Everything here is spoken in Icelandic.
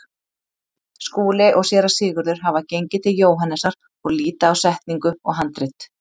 Skúli og Séra Sigurður hafa gengið til Jóhannesar og líta á setningu og handrit.